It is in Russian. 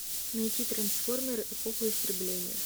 найти трансформеры эпоха истребления